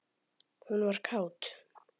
Hún var kát.